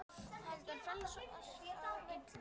heldur frelsa oss frá illu.